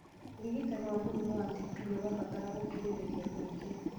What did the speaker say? ũrigitani wa mũrimũ wa TB nĩũrabatara gũkirĩrĩa kũingĩ